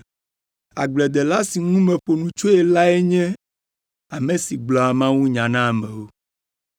Agbledela si ŋu meƒo nu tsoe lae nye ame si gblɔa mawunya na amewo.